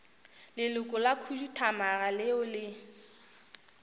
leloko la khuduthamaga leo le